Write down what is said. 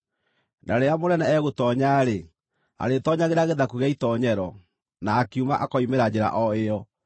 Na rĩrĩa mũnene egũtoonya-rĩ, arĩĩtoonyagĩra gĩthaku gĩa itoonyero, na akiuma akoimĩra njĩra o ĩyo.